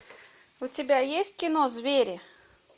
у тебя есть кино звери